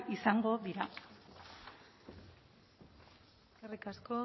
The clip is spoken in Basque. izango dira eskerrik asko